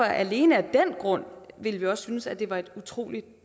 alene af den grund ville vi også synes at det var et utrolig